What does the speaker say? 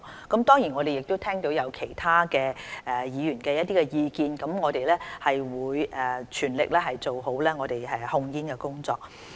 我們當然亦聽到其他議員的意見，會全力做好控煙工作。